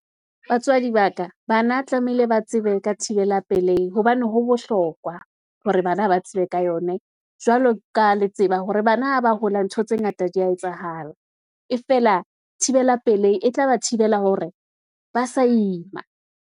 Batswadi ba ka, bana tlamehile ba tsebe ka thibela pelehi, hobane ho bohlokwa hore bana ha ba tsebe ka yone, jwalo ka le tseba hore bana ha ba hola. Ntho tse ngata di ya etsahala, e feela thibela pelei, e tla ba thibela hore ba sa ima.